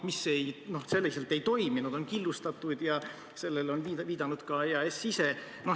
Need aga selliselt ei toimi, sest nad on killustatud, sellele on viidanud ka EAS ise.